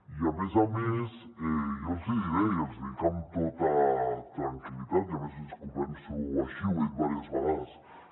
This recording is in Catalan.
i a més a més jo els hi diré i els hi dic amb tota tranquil·litat i a més és que ho penso així ho he dit diverses vegades